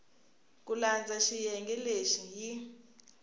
ku landza xiyenge lexi yi